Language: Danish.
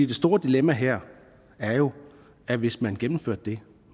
det store dilemma her er jo at hvis man gennemførte det